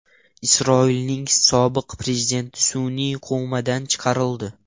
Isroilning sobiq prezidenti sun’iy komadan chiqarildi.